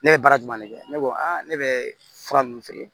Ne ye baara jumɛn de kɛ ne ko a ne bɛ fura ninnu feere